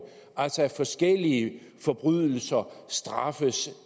altså at forskellige forbrydelser straffes